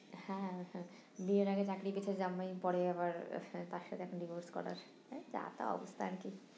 হ্যাঁ হ্যাঁ বিয়ের আগে চাকরিকে তো জামাই পরে আবার divorce করার মানে জাতা অবস্থা আর কি